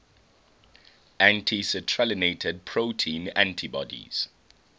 anti citrullinated protein antibodies